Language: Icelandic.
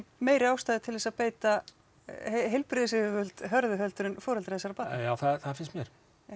meiri ástæða til að beita heilbrigðisyfirvöld hörðu heldur en foreldra þessara barna já það finnst mér